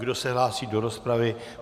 Kdo se hlásí do rozpravy?